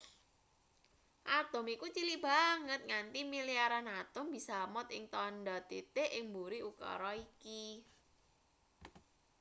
atom iku cilik banget nganti milyaran atom bisa amot ing tandha titik ing mburi ukara iki